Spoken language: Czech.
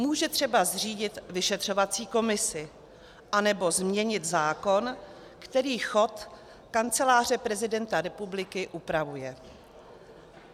Může třeba zřídit vyšetřovací komisi anebo změnit zákon, který chod Kanceláře prezidenta republiky upravuje.